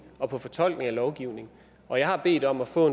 og på fortolkning af lovgivning og jeg har bedt om at få